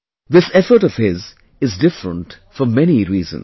This effort of his is different for many reasons